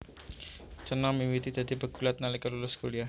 Cena miwiti dadi pegulat nalika lulus kuliah